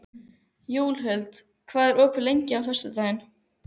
Júlíhuld, hvað er opið lengi á föstudaginn?